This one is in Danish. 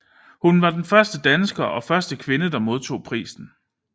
Hun var den første dansker og første kvinde der modtog prisen